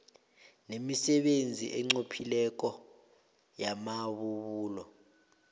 nemisebenzi enqophileko yamabubulo